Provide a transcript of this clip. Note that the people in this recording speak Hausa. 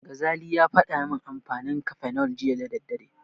Gazali ya faɗa min amfanin Cafenol jiya da daddare.